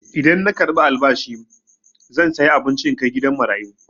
Idan na karɓi albashi zan saya abinci in kai gidan marayu.